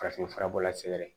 Farafinfura bɔla sɛgɛrɛ